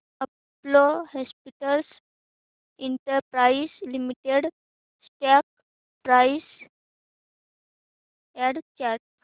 Apollo Hospitals Enterprise Limited stock price and chart